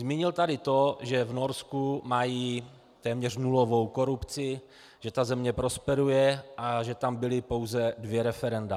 Zmínil tady to, že v Norsku mají téměř nulovou korupci, že ta země prosperuje a že tam byla pouze dvě referenda.